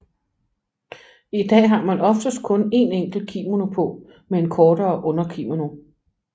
I dag har man oftest kun en enkelt kimono på med en kortere underkimono